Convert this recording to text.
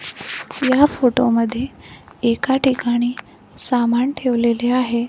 या फोटो मध्ये एका ठिकाणी सामान ठेवलेले आहे.